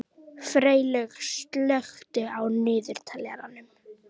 Freylaug, slökktu á niðurteljaranum.